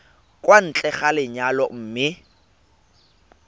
kwa ntle ga lenyalo mme